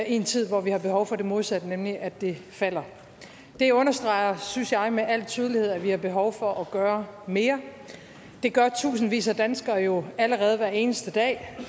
en tid hvor vi har behov for det modsatte nemlig at det falder det understreger synes jeg med al tydelighed at vi har behov for at gøre mere det gør tusindvis af danskere jo allerede hver eneste dag